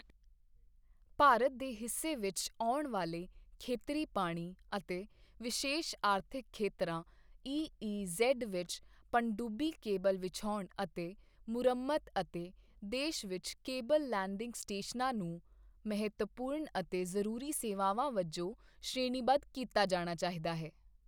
ਭਾਰਤ ਦੇ ਹਿੱਸੇ ਵਿੱਚ ਆਉਣ ਵਾਲੇ ਖੇਤਰੀ ਪਾਣੀ ਅਤੇ ਵਿਸ਼ੇਸ਼ ਆਰਥਿਕ ਖੇਤਰਾਂ ਈਈਜੇਡ ਵਿੱਚ ਪਣਡੂੱਬੀ ਕੇਬਲ ਵਿਛਾਉਣ ਅਤੇ ਮੁਰੰਮਤ ਅਤੇ ਦੇਸ਼ ਵਿੱਚ ਕੇਬਲ ਲੈਂਡਿੰਗ ਸਟੇਸ਼ਨਾਂ ਨੂੰ ਮਹੱਤਵਪੂਰਣ ਅਤੇ ਜ਼ਰੂਰੀ ਸੇਵਾਵਾਂ ਵਜੋਂ ਸ਼੍ਰੇਣੀਬੱਧ ਕੀਤਾ ਜਾਣਾ ਚਾਹੀਦਾ ਹੈ।